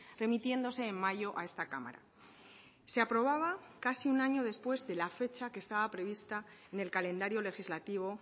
remitiéndose en mayo a esta cámara se aprobaba casi un año después de la fecha que estaba prevista en el calendario legislativo